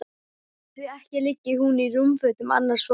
Því ekki liggi hún í rúmfötum annars fólks.